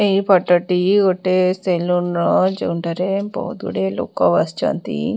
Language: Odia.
ଏଇ ଫଟ ଟି ଗୋଟେ ସେଲୁନ ର ଯେଉଁଠାରେ ବହୁତ ଗୁଡିଏ ଲୋକ ବସିଛନ୍ତି।